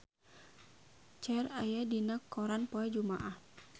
Cher aya dina koran poe Jumaah